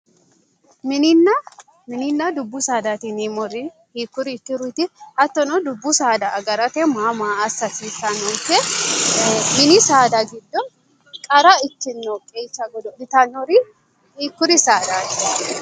mininna dubbu saadaati yineemmori hiikkuri hiikkuriiti hattono dubbu saada agarate maa maa assa hasiissannonke mini saada giddo qara qeecha godo'litannori hiikkuri saadaati?